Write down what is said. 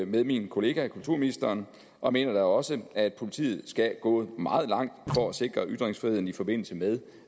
med min kollega kulturministeren og mener da også at politiet skal gå meget langt for at sikre ytringsfriheden i forbindelse med